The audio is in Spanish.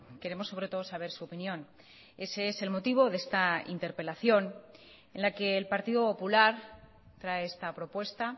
queremos sobre todo saber su opinión ese es el motivo de esta interpelación en la que el partido popular trae esta propuesta